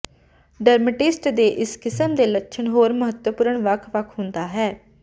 dermatitis ਦੇ ਇਸ ਕਿਸਮ ਦੇ ਲੱਛਣ ਹੋਰ ਮਹੱਤਵਪੂਰਨ ਵੱਖ ਵੱਖ ਹੁੰਦਾ ਹੈ